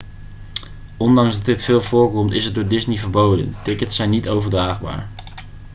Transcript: ondanks dat dit veel voorkomt is het door disney verboden tickets zijn niet overdraagbaar